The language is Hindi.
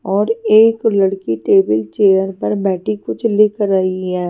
और एक लड़की टेबल चेयर पर बैठी कुछ लिख रही है।